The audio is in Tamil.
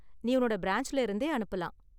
நீ உன்னோட பிரான்ச்ல இருந்தே அனுப்பலாம்.